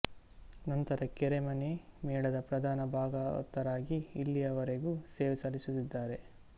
ನಂತರ ಕೆರೆಮನೆ ಮೇಳದ ಪ್ರಧಾನ ಭಾಗವತರಾಗಿ ಇಲ್ಲಿಯವರೆಗೂ ಸೇವೆ ಸಲ್ಲಿಸುತ್ತಿದ್ದಾರೆ